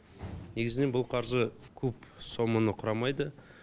негізінен бұл қаржы көп соманы құрамайды